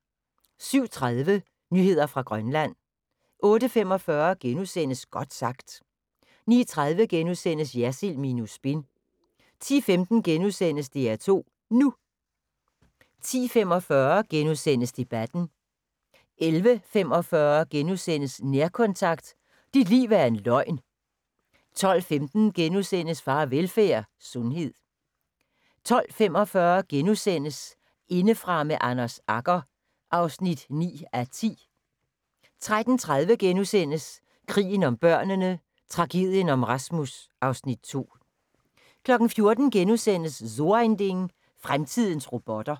07:30: Nyheder fra Grønland 08:45: Godt sagt * 09:30: Jersild minus spin * 10:15: DR2 NU * 10:45: Debatten * 11:45: Nærkontakt – Dit liv er en løgn * 12:15: Farvelfærd: Sundhed * 12:45: Indefra med Anders Agger (9:10)* 13:30: Krigen om børnene: Tragedien om Rasmus (Afs. 2)* 14:00: So ein Ding: Fremtidens robotter *